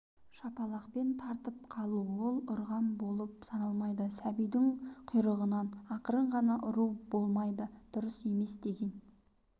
шапалақпен тартып қалу ол ұрған болып саналмайды сәбидің құйрығынан ақырын ғана ұру болмайды дұрыс емес деген